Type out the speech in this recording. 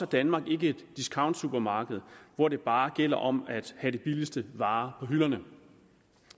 danmark ikke et discountsupermarked hvor det bare gælder om at have de billigste varer på hylderne